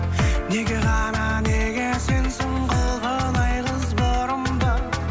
неге ғана неге сенсің толған ай қыз бұрымды